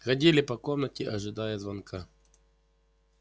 ходили по комнате ожидая звонка